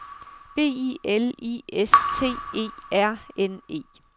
B I L I S T E R N E